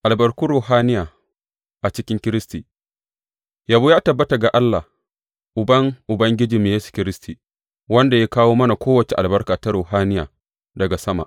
Albarkun ruhaniya a cikin Kiristi Yabo ya tabbata ga Allah Uban Ubangijinmu Yesu Kiristi, wanda ya kawo mana kowace albarka ta ruhaniya daga sama.